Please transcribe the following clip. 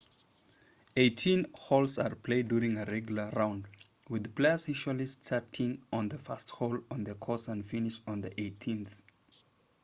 eighteen holes are played during a regular round with players usually starting on the first hole on the course and finishing on the eighteenth